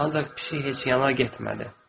Ancaq pişik heç yana getmədi.